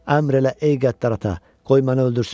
Əmr elə ey qəddar ata, qoy məni öldürsünlər.